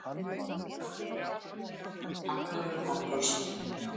Hagnaður bankans minnki.